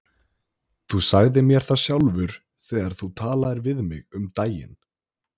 Þú sagðir mér það sjálfur þegar þú talaðir við mig um daginn.